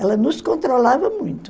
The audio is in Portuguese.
Ela nos controlava muito.